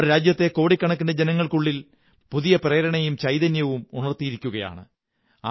അവർ രാജ്യത്തെ കോടിക്കണക്കിനു ജനങ്ങള്ക്കു ള്ളിൽ പുതിയ പ്രേരണയും ചൈതന്യവുമുണര്ത്തി യിരിക്കയാണ്